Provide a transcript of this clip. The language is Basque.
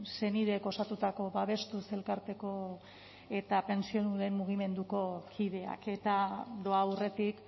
senideek osatutako babestuz elkarteko eta pentsiodunen mugimenduko kideak eta doa aurretik